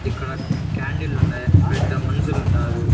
ఇక్కడ క్యాండిలండాయి ఇక్కడ ఇద్ద మనుషులుండారు.